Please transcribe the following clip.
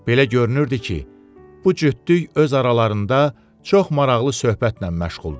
Belə görünürdü ki, bu cütlük öz aralarında çox maraqlı söhbətlə məşğuldur.